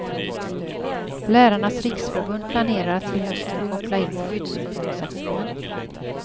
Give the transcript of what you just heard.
Lärarnas riksförbund planerar att till hösten koppla in skyddsorganisationen.